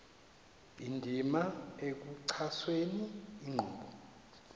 indima ekuxhaseni inkqubo